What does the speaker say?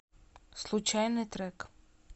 случайный трек